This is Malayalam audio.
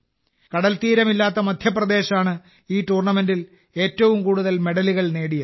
കടൽത്തീരമില്ലാത്ത മധ്യപ്രദേശാണ് ഈ ടൂർണമെന്റിൽ ഏറ്റവും കൂടുതൽ മെഡലുകൾ നേടിയതും